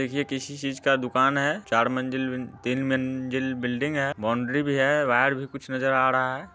देखिये ये किसी चीज का दुकान है चार मंजिल तीन मंजिल बिल्डिंग है बाउंड्री भी है बाहर भी कुछ नजर आ रहा हैा